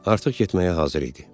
artıq getməyə hazır idi.